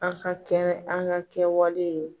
An ka kɛ an ka kɛwale